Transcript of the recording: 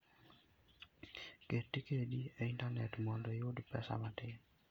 Ket tiketi e intanet mondo iyud pesa matin.